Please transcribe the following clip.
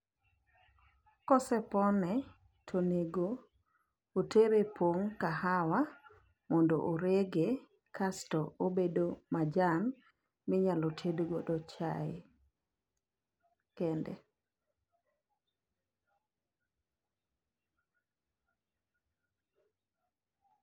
Kosepone tonego otere e pong' kahawa mondo orege kasto obedo majan minyalo tedgodo chae kende.